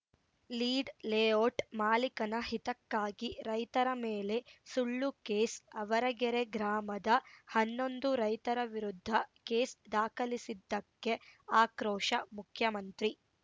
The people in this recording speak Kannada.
ಲೀಡ್‌ ಲೇಔಟ್‌ ಮಾಲೀಕನ ಹಿತಕ್ಕಾಗಿ ರೈತರ ಮೇಲೆ ಸುಳ್ಳು ಕೇಸ್‌ ಆವರಗೆರೆ ಗ್ರಾಮದ ಹನ್ನೊಂದು ರೈತರ ವಿರುದ್ಧ ಕೇಸ್‌ ದಾಖಲಿಸಿದ್ದಕ್ಕೆ ಆಕ್ರೋಶ ಮುಖ್ಯಮಂತ್ರಿ